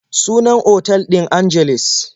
Sunan otal ɗin Angeles.